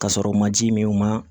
Ka sɔrɔ u ma ji min u ma